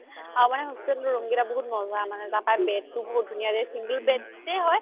আমাৰ মানে hostel ৰ room কেইটা বহুত মজা তাৰ পৰা bed তো বহুত ধুনীয়া single bed য়ে হয়